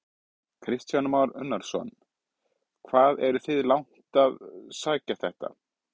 Kristján Már Unnarsson: Hvað eruð þið langt að sækja þetta?